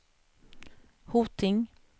Hoting